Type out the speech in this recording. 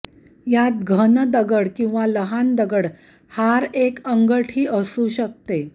या घन दगड किंवा लहान दगड हार एक अंगठी असू शकते